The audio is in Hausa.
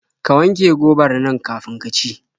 Ka wanke gobar nan kafin ki ci.